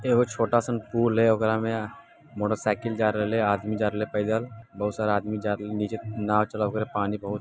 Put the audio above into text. एगो छोटासन पुल है ओकरा मे मोटरसाइकिल जा रहले आदमी जा रहले पैदल बहुत सारे आदमी जा रहले नीचे नाव चला रहले पानी बहुत--